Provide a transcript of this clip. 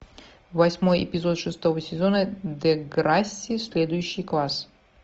восьмой эпизод шестого сезона деграсси следующий класс